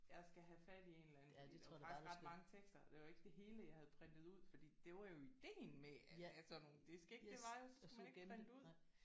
Jeg skal have fat i en eller anden fordi det er faktisk ret mange tekster. Og det var jo ikke det hele jeg havde printet ud fordi det var jo idéen med at have sådan nogle disks ik? Det var jo at så skulle man ikke printe ud